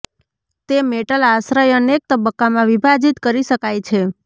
તે મેટલ આશ્રય અનેક તબક્કામાં વિભાજિત કરી શકાય છે